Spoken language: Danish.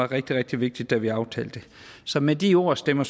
rigtig rigtig vigtigt da vi aftalte det så med de ord stemmer